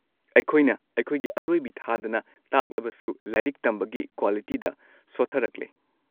ꯑꯩꯈꯣꯏꯅ ꯑꯩꯈꯣꯏꯒꯤ ꯑꯔꯣꯏꯕꯤ ꯊꯥꯗꯅ ꯇꯥꯛꯂꯕꯁꯨ ꯂꯥꯏꯔꯤꯛ ꯇꯝꯕꯒꯤ ꯀ꯭ꯋꯥꯂꯤꯇꯤꯗ ꯁꯣꯊꯔꯛꯂꯦ꯫